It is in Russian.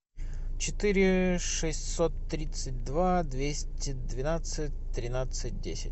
четыре шестьсот тридцать два двести двенадцать тринадцать десять